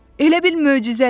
Elə bil möcüzədir.